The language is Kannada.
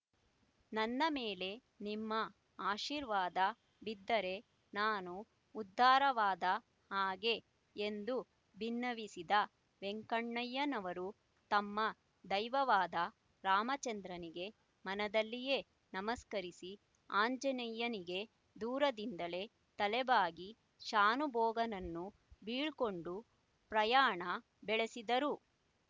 ನನ್ನ ಮೇಲೆ ನಿಮ್ಮ ಆಶೀರ್ವಾದ ಬಿದ್ದರೆ ನಾನು ಉದ್ಧಾರವಾದ ಹಾಗೆ ಎಂದು ಬಿನ್ನವಿಸಿದ ವೆಂಕಣ್ಣಯ್ಯನವರು ತಮ್ಮ ದೈವವಾದ ರಾಮಚಂದ್ರನಿಗೆ ಮನದಲ್ಲಿಯೇ ನಮಸ್ಕರಿಸಿ ಆಂಜನೇಯನಿಗೆ ದೂರದಿಂದಲೇ ತಲೆಬಾಗಿ ಶಾನುಭೋಗನನ್ನು ಬೀಳ್ಕೊಂಡು ಪ್ರಯಾಣ ಬೆಳೆಸಿದರು